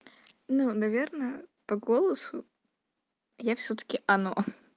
ну наверное по голосу я всё-таки она